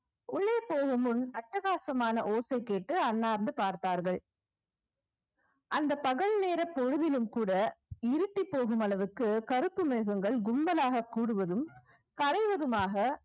உள்ளே போகும் முன் அட்டகாசமான ஓசை கேட்டு அண்ணார்ந்து பார்த்தார்கள் அந்த பகல் நேர பொழுதிலும் கூட இருட்டி போகும் அளவுக்கு கருப்பு மிருகங்கள் கும்பலாக கூடுவதும் கரைவதுமாக